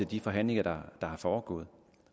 de forhandlinger der er foregået